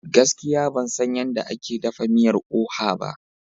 Gaskiya ban san yadda ake dafa miyar oha ba.